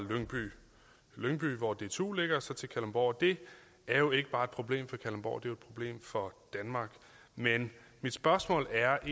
lyngby hvor dtu ligger og så til kalundborg det er jo ikke bare et problem for kalundborg det er jo et problem for danmark men mit spørgsmål er